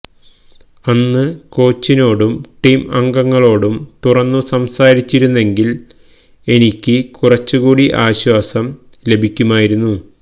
അന്ന് കോച്ചിനോടും ടീം അംഗങ്ങളോടും തുറന്നു സംസാരിച്ചിരുന്നെങ്കില് എനിക്ക് കുറച്ചുകൂടി ആശ്വാസം ലഭിക്കുമായിരുന്നു